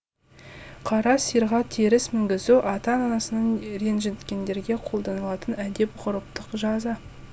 қара сиырға теріс мінгізу ата анасын ренжіткендерге қолданылатын әдет ғұрыптық жаза